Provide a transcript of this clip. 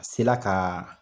A sela ka